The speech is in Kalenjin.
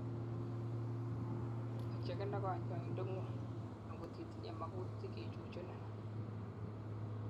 ocheken ak kanyoindet ngung angotitinyei makutik kechuchunin